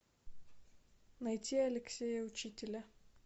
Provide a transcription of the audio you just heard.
найти алексея учителя